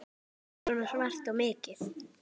Svona svart og mikið.